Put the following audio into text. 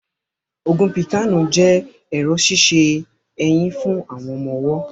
Ògùn píkàànù jẹ́ ẹ̀rọ̀ ṣíṣe eyín fún ọmọ ọwọ́